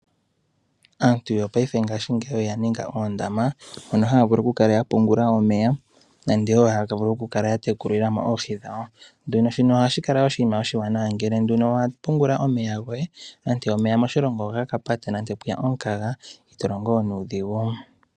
Aantu yofaipe ngashigeyi oya ninga oondama mono haa vulu oku kala ya pungula omeya nande haa vulu oku kala ya tekulila mo oohi dhawo. Shino ohashi kala oshinima oshiwanawa ngele nduno owa pungula omeya goye nante moshilongo omeya ogaka pata nande pweya omukaga.